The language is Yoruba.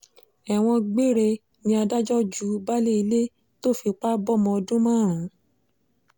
ẹ̀wọ̀n gbére ni adájọ́ ju baálé ilé tó fipá bọmọ ọdún márùn